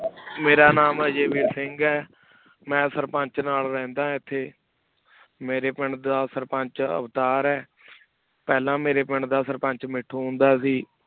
ਮੇਰਾ ਨਾਮ ਆ ਉਵ ਸਿੰਘ ਮੈਂ ਸੁਰ੍ਪੰਚ ਨਾਲ ਰਹੰਦਾ ਇਥੀ ਮੇਰੇ ਪਿੰਡ ਦਾ ਸੁਰ੍ਪੰਚ ਅਵਤਾਰ ਆਯ ਪਹਲਾ ਮੇਰੇ ਪਿੰਡ ਦਾ ਸੁਰ੍ਪੰਚ ਮੀਠੋ ਹੁੰਦਾ ਸੇ